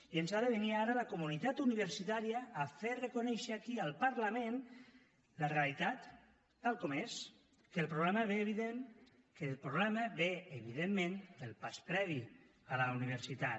i ens ha de venir ara la comunitat universitària a fer reconèixer aquí al parlament la realitat tal com és que el problema ve evidentment del pas previ a la universitat